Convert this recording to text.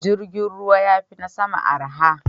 Jirgin ruwa ya fi na sama arha.